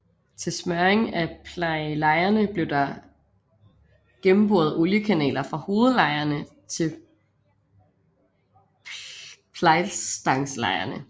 Til smøring af plejllejerne er der gennemboret oliekanaler fra hovedlejerne til plejlstangslejerne